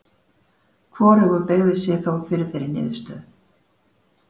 Hvorugur beygði sig þó fyrir þeirri niðurstöðu.